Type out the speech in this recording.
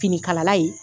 Finikalala ye